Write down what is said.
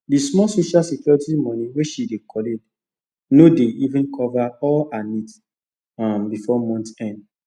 the small social security money wey she dey collect no dey even cover all her needs um before month end